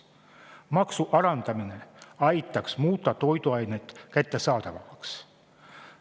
Maksu alandamine aitaks muuta toiduained kättesaadavamaks.